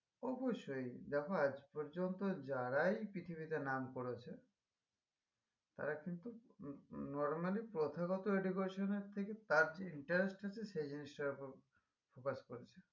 অবশ্যই দেখো আজ পর্যন্ত যারাই পৃথিবীতে নাম করেছে তারা কিন্তু normally প্রথাগত education এর থেকে তার যে interest আছে সে জিনিসটার উপর focus করেছে